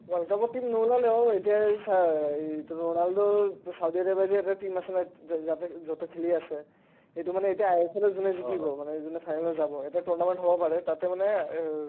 world cup ত team নোলালেও এতিয়া এই চা ই এটো ৰোনাল্ড' সৌদি আৰবৰ পৰা যে এটা team আছে ন যা যাতে য'তে খেলি আছে সেটো মানে ইতা ISR ৰে যোনে জিকিব মানে যোনে final ত যাব এটা tournament হ'ব পাৰে তাতে মানে এ